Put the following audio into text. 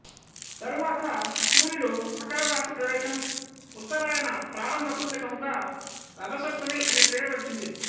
తరువాత సూర్యుడు మకరరాశి ప్రవేశం ఉత్తరాయన ప్రారంభ సూచకముగా రథసప్తమి అని పేరు వచ్చింది